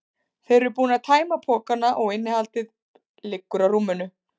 Þeir eru búnir að tæma pokana og innihaldið liggur á rúminu.